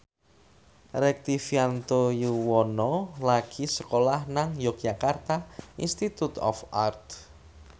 Rektivianto Yoewono lagi sekolah nang Yogyakarta Institute of Art